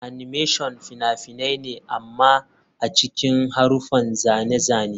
Animation fina-finai ne amma a cikin haruffan zane-zane.